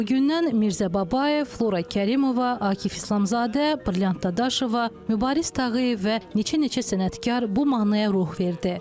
Elə o gündən Mirzə Babayev, Flora Kərimova, Akif İslamzadə, Brilliant Dadaşova, Mübariz Tağıyev və neçə-neçə sənətkar bu mahnıya ruh verdi.